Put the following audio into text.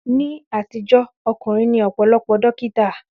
Ní àtijọ́, ọkùnrin ni ọ̀pọ̀lọpọ̀ dókítà.